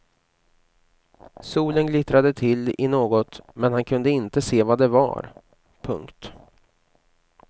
Solen glittrade till i något men han kunde inte se vad det var. punkt